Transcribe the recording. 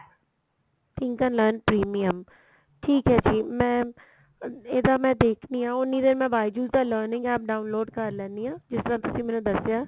thinker learn premium ਠੀਕ ਏ ਜੀ ਮੈਂ ਇਹਦਾ ਮੈਂ ਦੇਖਦੀ ਆ ਉੰਨੀ ਦੇਰ ਮੈਂ byju's ਦਾ learning APP download ਕਰ ਲੈਨੀ ਆ ਜਿੱਦਾਂ ਤੁਸੀਂ ਮੈਨੂੰ ਦੱਸਿਆ